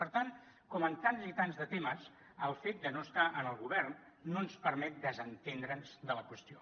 per tant com en tants i tants de temes el fet de no estar en el govern no ens permet desentendre’ns de la qüestió